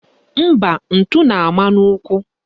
Mba, ntụ na-ama n'ụkwụ